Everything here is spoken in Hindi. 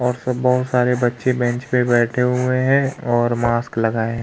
और सब बहोत सारे बच्चे बेंच पे बैठे हुए हैं और मास्क लगाए हैं।